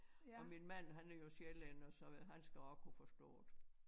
Og min mand han er jo sjællænder så han skal også kunne forstå det